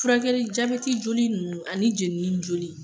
Furakɛli jabɛti joli ninnu ani jɛnni joli